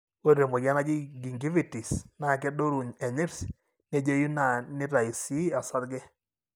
ore temoyian naaji Gingivitis, na kedoru enyirt, nejeyu na nitayu si osarge.